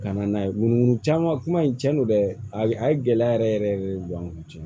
Ka na n'a ye munumunu caman kuma in tiɲɛ don dɛ a ye gɛlɛya yɛrɛ yɛrɛ yɛrɛ de don an kun ten